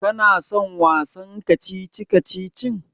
Kana son wasan kacici-kacicin?